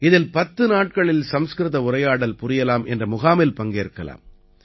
இதில் 10 நாட்களில் சம்ஸ்கிருத உரையாடல் புரியலாம் என்ற முகாமில் பங்கேற்கலாம்